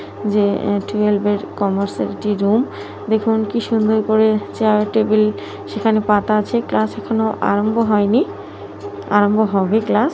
যে টুয়েলভের কমার্সের রুম দেখুন কি সুন্দর করে চেয়ার টেবিল সেখানে পাতা আছে ক্লাস এখনো আরম্ভ হয়নি আরম্ভ হবে ক্লাস ।